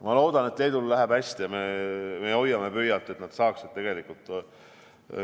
Ma loodan, et Leedul läheb hästi, ja me hoiame pöialt, et nad saaksid need numbrid paremaks.